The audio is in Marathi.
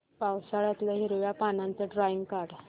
पावसाळ्यातलं हिरव्या पानाचं ड्रॉइंग काढ